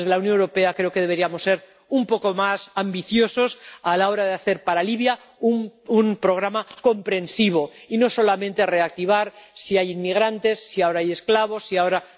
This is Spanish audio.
Desde la Unión Europea creo que deberíamos ser un poco más ambiciosos a la hora de hacer para Libia un programa comprensivo y no solamente reactivar si hay inmigrantes, si ahora hay esclavos, si ahora...